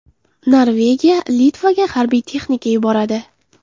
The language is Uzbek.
Norvegiya Litvaga harbiy texnika yuboradi.